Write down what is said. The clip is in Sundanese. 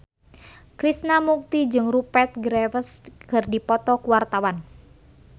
Krishna Mukti jeung Rupert Graves keur dipoto ku wartawan